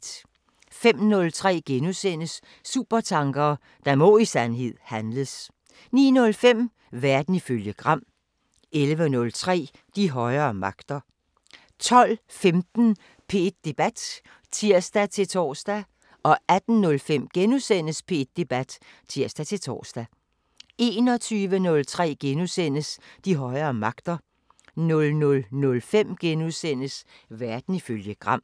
05:03: Supertanker: Der må i sandhed handles * 09:05: Verden ifølge Gram 11:03: De højere magter 12:15: P1 Debat (tir-tor) 18:05: P1 Debat *(tir-tor) 21:03: De højere magter * 00:05: Verden ifølge Gram *